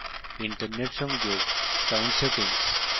internet সংযোগ